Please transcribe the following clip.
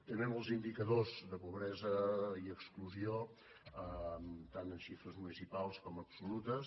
també en els indicadors de pobresa i exclusió tant amb xifres municipals com absolutes